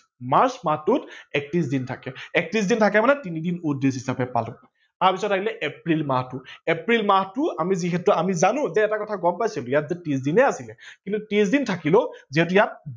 March মাহটোত একত্ৰিশ দিন থাকে ।একত্ৰিশ দিন থাকে মানে তিনি দিন odd days হিচাপে পালো। তাৰ পাছত আহিল এপ্ৰিল মাহটো এপ্ৰিল মাহটো আমি যিহেতু আমি জানো যে এটা কথা গম পাইছো যে ইয়াত যে ত্ৰিশ দিনে আছিলে কিন্তু ত্ৰিশ দিন থাকিলেও যেতিয়া